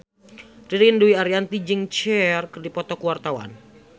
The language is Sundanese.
Ririn Dwi Ariyanti jeung Cher keur dipoto ku wartawan